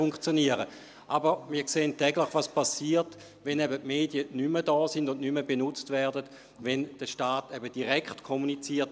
Wir sehen jedoch täglich, was geschieht, welche Risiken damit verbunden sind, wenn die Medien nicht mehr da sind und nicht mehr benutzt werden, wenn der Staat eben direkt kommuniziert.